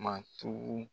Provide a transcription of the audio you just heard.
Matu